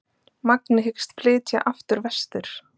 Magni hyggst flytja aftur vestur